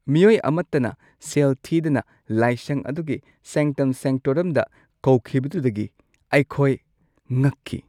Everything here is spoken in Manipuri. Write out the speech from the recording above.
ꯃꯤꯑꯣꯏ ꯑꯃꯠꯇꯅ ꯁꯦꯜ ꯊꯤꯗꯅ ꯂꯥꯏꯁꯪ ꯑꯗꯨꯒꯤ ꯁꯦꯡꯛꯇꯝ ꯁꯦꯡꯛꯇꯣꯔꯝꯗ ꯀꯧꯈꯤꯕꯗꯨꯗꯒꯤ ꯑꯩꯈꯣꯏ ꯉꯛꯈꯤ ꯫